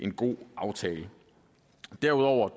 en god aftale derudover